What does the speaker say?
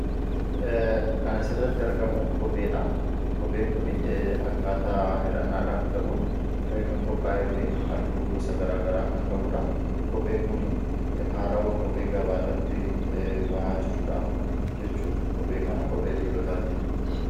Kanas irratti argamu kopheedha kopheen kun akkaataa hidhannaadhaaf ta'uun kan qophaa'ee fi alluu gosa garaa garaa kan qabuudha kopheen kun haaraawwa kophee gabaa irratti bahaa jirudhaa jechuudha kophee kana qophee dhiiro taatii.